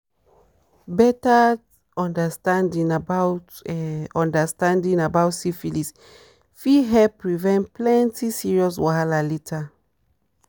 bettert understanding about understanding about syphilis fit help prevent plenty serious wahala later."